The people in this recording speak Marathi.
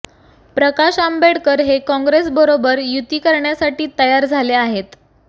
प्रकाश आंबेडकर हे काँग्रेसबरोबर युती करण्यासाठी तयार झाले आहेत